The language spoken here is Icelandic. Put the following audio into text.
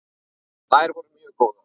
Þær voru mjög góðar.